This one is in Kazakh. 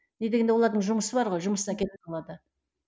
не дегенде олардың жұмысы бар ғой жұмысына кетіп калады